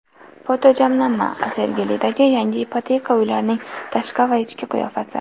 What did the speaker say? Fotojamlanma: Sergelidagi yangi ipoteka uylarining tashqi va ichki qiyofasi.